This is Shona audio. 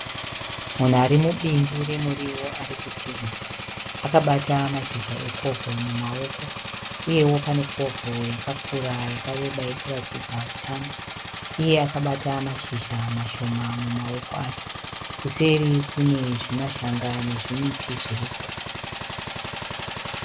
Munhu arimubindu remuriwo arikutemha. Akabata mashizha ekovho mumaoko. Uyewo pane kovho yakakura yakareba irikuratidza utano. Iye akabata mashizha mashoma mumaoko ake. Kuseri Kune zvimashanga nezvimiti zviriko.